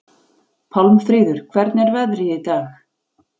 Pálmfríður, hvernig er veðrið í dag?